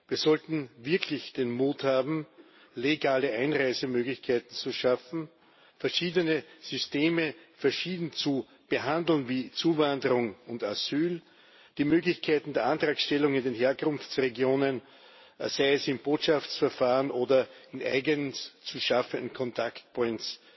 Wir sollten wirklich den Mut haben, legale Einreisemöglichkeiten zu schaffen, verschiedene Systeme verschieden zu behandeln, wie Zuwanderung und Asyl, und die Möglichkeiten der Antragstellung in den Herkunftsregionen sei es im Botschaftsverfahren oder in eigens zu schaffenden contact points